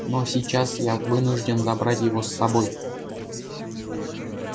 но сейчас я вынужден забрать его с собой